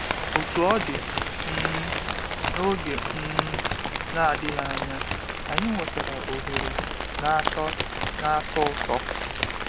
Otú ọ dị, um n’oge um na-adịghị anya, anyị nwetara ohere na-atọ na-atọ ụtọ.